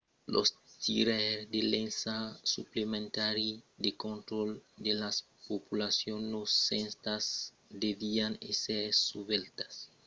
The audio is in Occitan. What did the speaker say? los tiraires de l'ensag suplementari de contraròtle de las populacions nosentas devián èsser susvelhats estrechament pels gardas estent que l'ensag èra susvelhat e son eficacitat avalorada